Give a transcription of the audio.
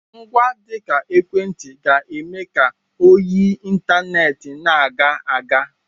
Ngwa dị ka ekwentị ga-eme ka oyi intaneti na-aga aga.